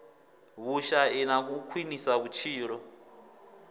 vhushai na u khwinisa vhutshilo